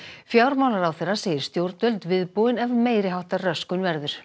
fjármálaráðherra segir stjórnvöld viðbúin ef meiri háttar röskun verður